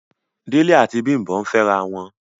Dele ati Bimbo ǹ fẹrawọn